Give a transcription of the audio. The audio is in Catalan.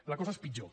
la cosa és pitjor